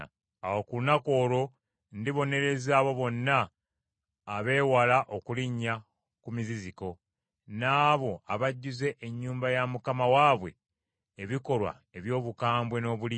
Awo ku lunaku olwo ndibonereza abo bonna abeewala okulinnya ku muziziko, n’abo abajjuza ennyumba ya Mukama waabwe ebikolwa eby’obukambwe n’obulimba.